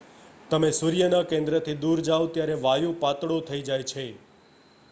તમે સૂર્યના કેન્દ્રથી દૂર જાવ ત્યારે વાયુ પાતળો થઈ જાય છે